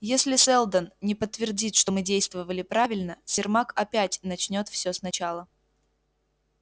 если сэлдон не подтвердит что мы действовали правильно сермак опять начнёт все сначала